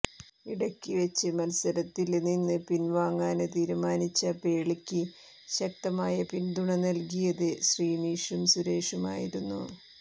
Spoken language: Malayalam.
ഇടയ്ക്ക് വെച്ച് മത്സരത്തില് നിന്നും പിന്വാങ്ങാന് തീരുമാനിച്ച പേളിക്ക് ശക്തമായ പിന്തുണ നല്കിയത് ശ്രിനിഷും സുരേഷുമായിരുന്നു